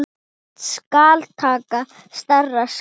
Skal taka stærra skref?